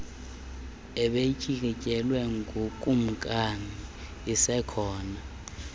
ebeyityikityelwe ngukumkani isekhona